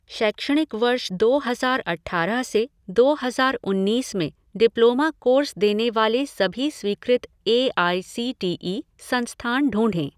शैक्षणिक वर्ष दो हज़ार अठारह से दो हज़ार उन्नीस में डिप्लोमा कोर्स देने वाले सभी स्वीकृत A I C T E संस्थान ढूँढें।